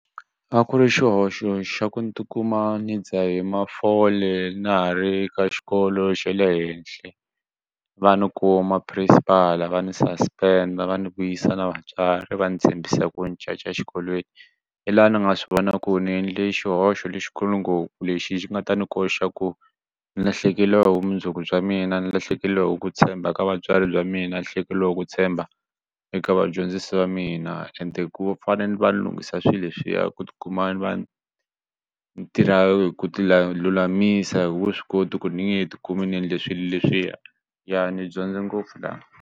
A ku ri xihoxo xa ku ni ti kuma ni dzahe mafole na ha ri ka xikolo xa le henhla va ni kuma principal va ni suspend va ni vuyisa na vatswari va ni tshembisa ku ni caca exikolweni hi laha ni nga swi vona ku ni endle xihoxo lexikulu ngopfu lexi xi nga ta ni koxa ku ni lahlekeriwa hi vumundzuku bya mina ni lahlekeriwahi ku tshemba ka vatswari bya mina lahlekeriwahi ku tshemba eka vadyondzisi va mina ende ku fana ni va ni lunghisa swilo leswiya ku ti kuma ni va ni ni tirha hi ku ti la lulamisa wu swi koti ku ni nge ti kumi ndzi endle swilo leswiya ya ni dyondze ngopfu la.